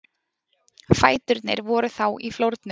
Fæturnir voru þá í flórnum.